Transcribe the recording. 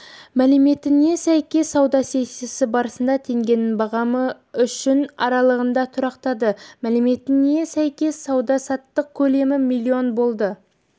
мәліметіне сәйкес сауда сессиясы барысында теңгенің бағамы үшін аралығында тұрақтады мәліметіне сәйкес сауда-саттық көлемі млн болды